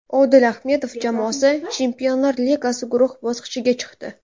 Odil Ahmedov jamoasi Chempionlar Ligasi guruh bosqichiga chiqdi.